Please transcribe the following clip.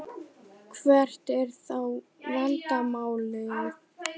Hvert er þá vandamálið?